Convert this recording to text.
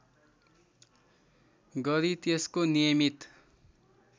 गरी त्यसको नियमित